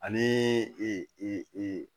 Ani e e e e